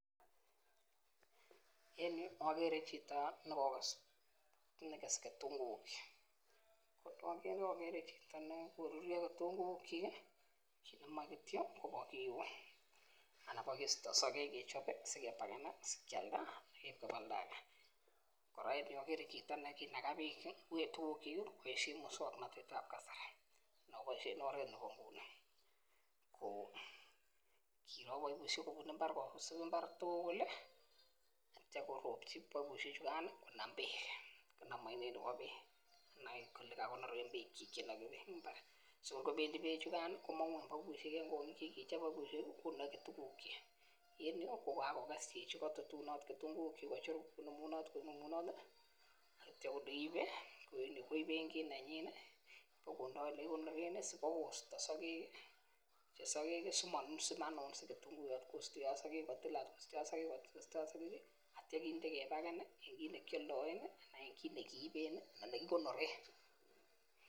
En okere chito nekokose nekese kitunguuk, ko okere chito nekoruryo kitunguuk kyik kii, ki nemoite kityok Kobo kiun anan bokisto sokek kechob sikebaken sikialda ak keib koba oldage. Koraa en yuu okere chito nekinaka beek kii tukuk kyuk kii koboishen muswoknotetab kasari neboishen oret nebo inguni kou kiro besho kobun imbar kopis imbar tukul lii ak ityo koropchi mbekushek chukan konam beek, konam oinet nebo beek konai kole kakonoren beek chik cheinoki imbar so ngobendii beschukan komongu en baibushek en kongik chekikechob baibushek konoki tukuk chik. En yuu ko kakoges chichi kotutunot ketunguk kochut konemunot konemunot tii ak ityo korib nii koiben kit nenyin nii bokondo yekikonoren nii sibakosto sokek kii chesokek simanunsi ketunguyot kosteot sokek kotilat kosteot sokek kosteot sokek kii ak ityo kinde kebaken nii rn kit nekiondoen anan kit nekiiben ana nekikonoren.